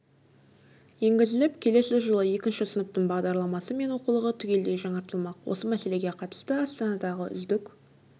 енгізіліп келесі жылы екінші сыныптың бағдарламасы мен оқулығы түгелдей жаңартылмақ осы мәселеге қатысты астанадағы үздік